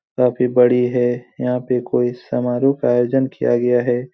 काफी बड़ी है यहाँ पे कोई समारोह का आयोजन किया गया है।